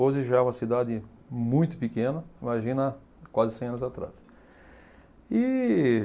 Hoje já é uma cidade muito pequena, imagina quase cem anos atrás. E